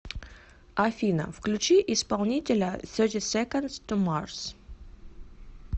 афина включи исполнителя сети секондс ту марс